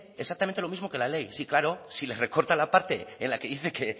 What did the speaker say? exactamente lo mismo que la ley sí claro si les recortas la parte en la que dice que